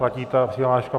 Platí ta přihláška?